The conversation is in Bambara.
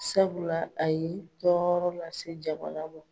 Sabula aye tɔɔrɔ lase jamana ma